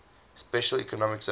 special economic zone